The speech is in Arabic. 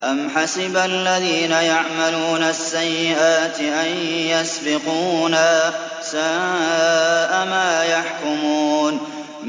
أَمْ حَسِبَ الَّذِينَ يَعْمَلُونَ السَّيِّئَاتِ أَن يَسْبِقُونَا ۚ سَاءَ مَا يَحْكُمُونَ